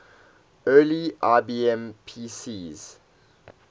early ibm pcs